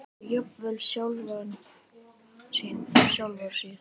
og jafnvel sjálfra sín.